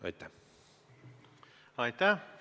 Aitäh!